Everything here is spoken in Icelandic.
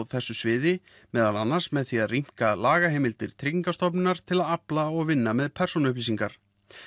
þessu sviði meðal annars með því að rýmka lagaheimildir Tryggingastofnunar til að afla og vinna með persónuupplýsingar